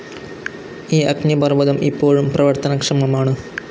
ഈ അഗ്നിപർവതം ഇപ്പോഴും പ്രവർത്തനക്ഷമമാണ്.